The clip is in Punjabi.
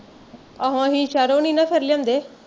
ਆਹੋ ਅਸੀਂ ਸਹਿਰੋਂ ਨੀ ਨਾ ਫਿਰ ਲਿਆਂਦੇ